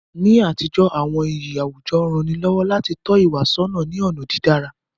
Ni àtijọ́, àwọn iyì àwùjọ rán ni lọ́wọ́ láti tọ́ ìwà sọ́nà ní ọ̀nà dídára.